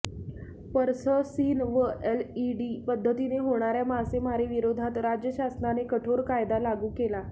purse seine व LED पद्धतीने होणाऱया मासेमारीविरोधात राज्य शासनाने कठोर कायदा लागू केला